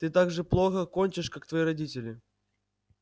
ты так же плохо кончишь как твои родители